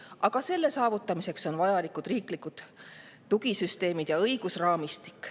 Aga selle saavutamiseks on vajalikud riiklikud tugisüsteemid ja õigusraamistik.